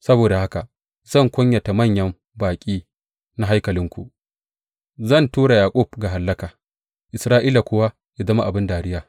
Saboda haka zan kunyata manyan baƙi na haikalinku, zan tura Yaƙub ga hallaka Isra’ila kuwa yă zama abin dariya.